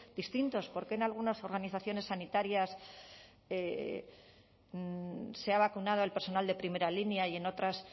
distintos por qué en algunas organizaciones sanitarias se ha vacunado al personal de primera línea y en otras